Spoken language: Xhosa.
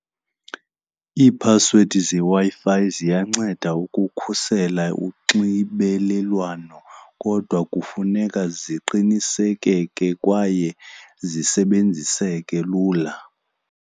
Iiphasiwedi zeWi-Fi ziyanceda ukukhusela unxibelelwano kodwa kufuneka ziqinisekeke kwaye zisebenziseke lula.